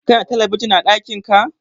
kana da talabijin a dakin ka?